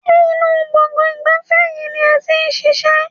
Ṣé inú gbọ̀ngàn ìgbafẹ́ yìí ni ẹ ti ń ṣiṣẹ́?